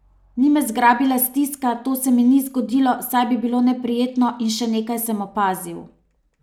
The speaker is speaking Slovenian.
Ni me zagrabila stiska, to se mi ni zgodilo, saj bi bilo neprijetno in še nekaj sem opazil.